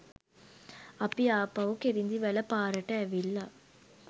අපි ආපහු කිරිඳිවැල පාරට ඇවිල්ල